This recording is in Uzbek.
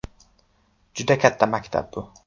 Juda katta maktab bu.